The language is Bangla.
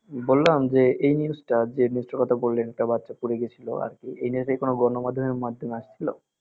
বললাম যে এই news টা যেই news টার কথা বললেন একটা বাচ্চা পুড়ে গেছিলো আর কি এই news কি কোনো গণমাধ্যমে মাধ্যমে আসছিল